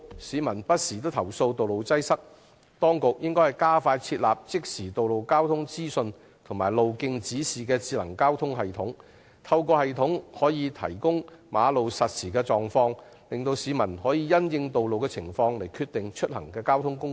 市民不時投訴道路擠塞，當局應加快設置即時道路交通資訊和路徑指示的智能交通系統，透過系統提供馬路實時狀況，讓市民能夠因應道路情況選擇出行交通工具。